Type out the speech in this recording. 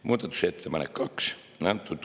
Muudatusettepanek nr 2.